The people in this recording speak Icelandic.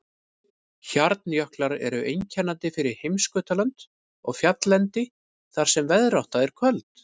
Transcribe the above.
Hjarnjöklar eru einkennandi fyrir heimskautalönd og fjalllendi þar sem veðrátta er köld.